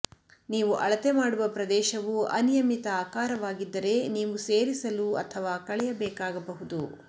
ನೀವು ಅಳತೆ ಮಾಡುವ ಪ್ರದೇಶವು ಅನಿಯಮಿತ ಆಕಾರವಾಗಿದ್ದರೆ ನೀವು ಸೇರಿಸಲು ಅಥವಾ ಕಳೆಯಬೇಕಾಗಬಹುದು